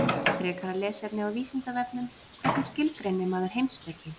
Frekara lesefni á Vísindavefnum: Hvernig skilgreinir maður heimspeki?